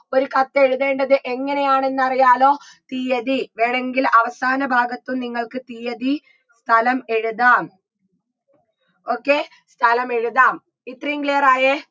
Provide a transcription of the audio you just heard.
ഒരു കത്തെഴുതേണ്ടത് എങ്ങനെയാണെന്നറിയാലോ തീയ്യതി വേണെങ്കിൽ അവസാന ഭാഗത്തും നിങ്ങൾക്ക് തീയ്യതി സ്ഥലം എഴുതാം okay സ്ഥലമെഴുതാം ഇത്രയും clear ആയേ